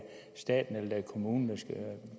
staten eller det er kommunen